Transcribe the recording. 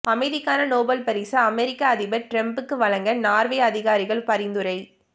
அமைதிக்கான நோபல் பரிசு அமெரிக்க அதிபர் ட்ரம்புக்கு வழங்க நார்வே அதிகாரிகள் பரிந்துரை